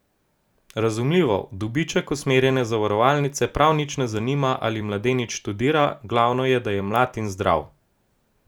Razumljivo, v dobiček usmerjene zavarovalnice prav nič ne zanima, ali mladenič študira, glavno je, da je mlad in zdrav.